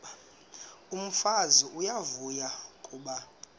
umfazi uyavuya kuba